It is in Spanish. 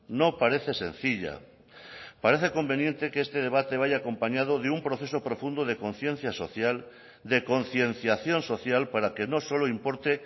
no parece sencilla parece conveniente que este debate vaya acompañado de un proceso profundo de conciencia social de concienciación social para que no solo importe